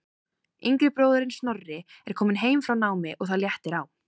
Yngri bróðirinn Snorri er kominn heim frá námi og það léttir á.